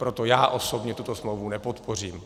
Proto já osobně tuto smlouvu nepodpořím.